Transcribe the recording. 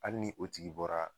Hali ni o tigi bɔra.